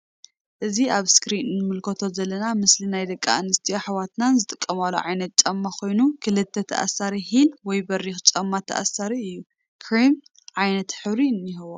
እዚ ኣብ እስክሪን እንምልከቶ ዘለና ምስሊ ና ደቂ ኣንስትዮ ኣሕዋትና ዝጥቀማሉ ዓይነት ጫማ ኮይኑ ክልተ ተኣሳሪ ሂል ወይ በሪክ ጫማ ተኣሳሪ እዩ። ክሪም ዓይነት ሕብሪ እኒሀዎ